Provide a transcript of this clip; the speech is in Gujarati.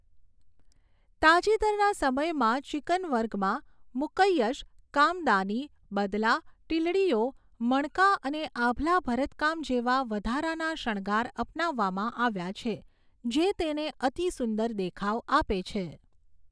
તાજેતરના સમયમાં ચિકન વર્કમાં મુકૈય્યશ, કામદાની, બદલા, ટીલડીઓ, મણકા અને આભલાં ભરત કામ જેવા વધારાના શણગાર અપનાવવામાં આવ્યા છે, જે તેને અતિસુંદર દેખાવ આપે છે.